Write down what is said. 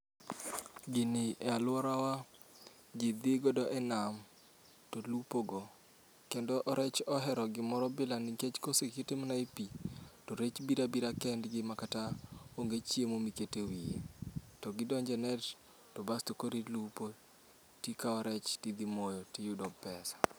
Gini e alworawa ji dhi godo e nam to lupo go. Kendo rech ohero gimoro bilani nikech kosekete e pi, to rech bira bira kendgi ma kata onge chiemo mikete wiye. To gidonje net, to basto korilupo, tikawo rech tidhi moyo tiyudo pesa.